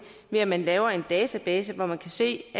ved at man laver en database hvor man kan se